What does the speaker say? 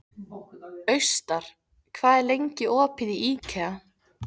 Austar, hvað er lengi opið í IKEA?